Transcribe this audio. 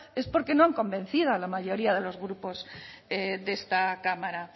es porque no han convencido a la mayoría de los grupos de esta cámara